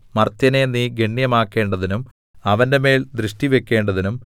മർത്യനെ നീ ഗണ്യമാക്കേണ്ടതിനും അവന്റെമേൽ ദൃഷ്ടിവക്കേണ്ടതിനും